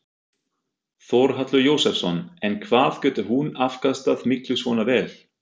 Þórhallur Jósefsson: En hvað getur hún afkastað miklu svona vél?